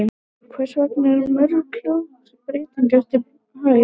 Hvers vegna eru mörk hljóðmúrsins breytileg eftir hæð?